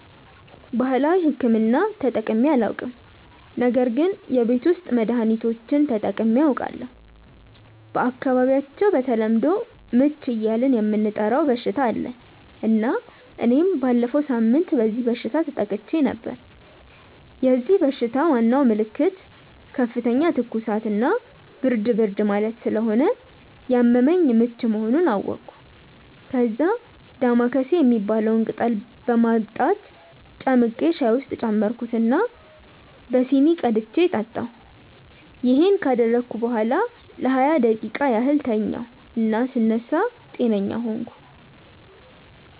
ባህላዊ ሕክምና ተጠቅሜ አላውቅም ነገር ግን የቤት ውስጥ መድሀኒቶችን ተጠቅሜ አውቃለሁ። በአካባቢያቸው በተለምዶ "ምች" እያልን የምንጠራው በሽታ አለ እና እኔም ባለፈው ሳምንት በዚህ በሽታ ተጠቅቼ ነበር። የዚህ በሽታ ዋናው ምልክት ከፍተኛ ትኩሳት እና ብርድ ብርድ ማለት ስለሆነ ያመመኝ ምች መሆኑን አወቅኩ። ከዛ "ዳማከሴ" የሚባለውን ቅጠል በማምጣት ጨምቄ ሻይ ውስጥ ጨመርኩት እና በሲኒ ቀድቼ ጠጣሁ። ይሄን ካደረግኩ በኋላ ለሃያ ደቂቃ ያህል ተኛሁ እና ስነሳ ጤነኛ ሆንኩ።